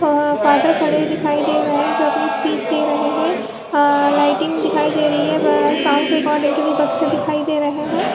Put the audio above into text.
Father खड़े दिखाई दे रही है जो अपनी स्पीच दे रहे है अ लाइटिंग दिखाई दी रही है साउंड रिकॉर्डिंग के लिए बाक्स दिखाई दे रहे हैं।